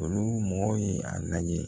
Olu mɔgɔ ye a lajɛ